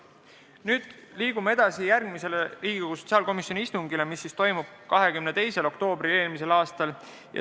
Nüüd liigun edasi järgmise Riigikogu sotsiaalkomisjoni istungi juurde, mis toimus 22. oktoobril eelmisel aastal.